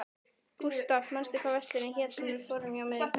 Gustav, manstu hvað verslunin hét sem við fórum í á miðvikudaginn?